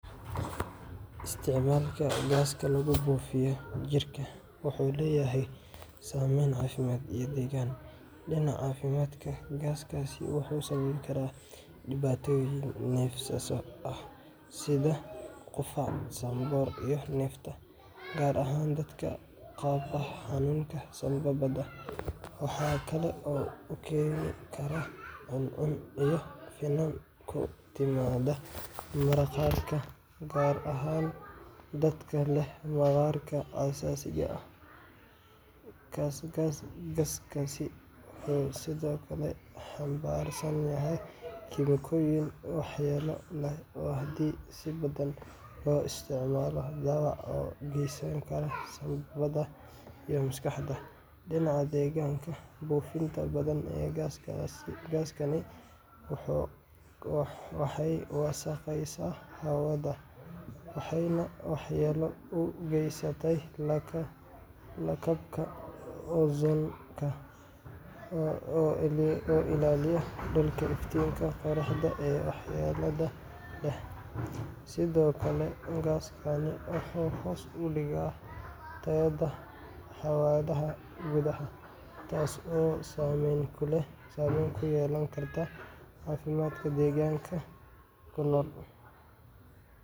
Isticmaalka gaaska lagu buufiyo jirka wuxuu leeyahay saameyn caafimaad iyo deegaan. Dhinaca caafimaadka, gaaskaasi wuxuu sababi karaa dhibaatooyin neefsasho sida qufac, sanboor, iyo neefta, gaar ahaan dadka qaba xanuunada sambabada. Waxa kale oo uu keeni karaa cuncun iyo finan ku yimaada maqaarka, gaar ahaan dadka leh maqaarka xasaasiga ah. Gaaskaasi wuxuu sidoo kale xambaarsan yahay kiimikooyin waxyeello leh oo haddii si badan loo isticmaalo dhaawac u geysan kara sambabbada iyo maskaxda. Dhinaca deegaanka, buufinta badan ee gaaskan waxay wasakheysaa hawada, waxayna waxyeello u geysataa lakabka ozone-ka oo ilaaliya dhulka iftiinka qorraxda ee waxyeellada leh. Sidoo kale, gaaskani wuxuu hoos u dhigaa tayada hawada gudaha, taas oo saameyn ku yeelan karta caafimaadka deegaanka ku nool.